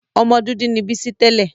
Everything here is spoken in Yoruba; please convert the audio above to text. Ọmọ dúdú ni Bísí tẹ́lẹ̀.